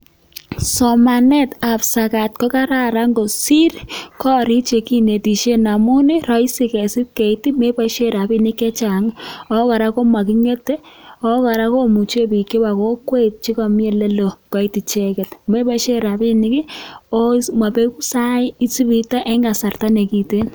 Somanet ab sokat ko kararan kosir korik chekinetishen, amun ii: roisi kesib keit ii, me boishe rabishek che chang, ago kora ko moking'ete, ago kora komuche bik chebo kokwet che komi ole loo koit icheget. Meboishen rabinik ii, oo mobegu sait- isib iite en kasarta ne kiten.